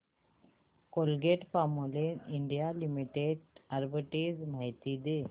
Colgate Palmolive India limited arbitrage माहिती दे